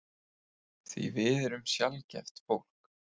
Því við erum sjaldgæft fólk.